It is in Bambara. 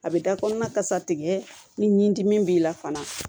A bɛ da kɔnɔna kasa tigɛ ni nin dimi b'i la fana